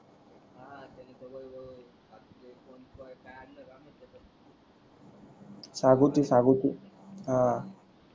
सागुटे सागुटे ह